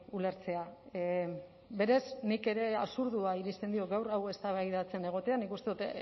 ulertzea berez nik ere absurdoa iristen diot gaur hau eztabaidatzen egotea nik uste dut